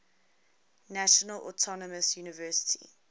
national autonomous university